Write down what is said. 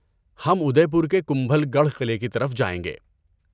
ہم ادے پور کے کمبل گڑھ قلعے کی طرف جائیں گے۔